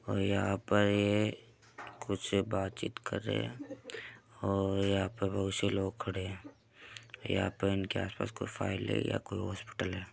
और यहाँ पर ये कुछ बातचीत कर रहे हैं और यहाँ पर बहुत से लोग खड़े हैं | यहाँ पे इनके आसपास कोई फाइल है या कोई हॉस्पिटल है।